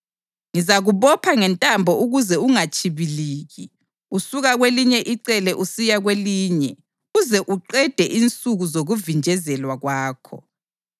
Ngizakubopha ngentambo ukuze ungatshibiliki usuka kwelinye icele usiya kwelinye uze uqede insuku zokuvinjezelwa kwakho.